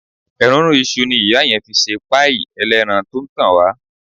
Èrúnrún iṣu ni ìyá yẹn fi sí páì ẹlẹ́ran tó ń tàn wá.